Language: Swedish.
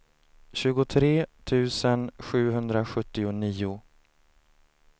tjugotre tusen sjuhundrasjuttionio